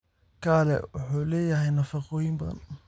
Kale wuxuu leeyahay nafaqooyin badan.